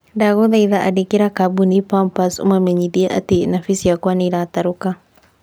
Ndagũthaitha andĩkĩra kabũni pampers ũmamenyithie atĩ napi ciakwa nĩiratarũka